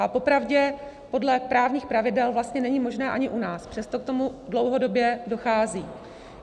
A popravdě podle právních pravidel vlastně není možné ani u nás, přesto k tomu dlouhodobě dochází.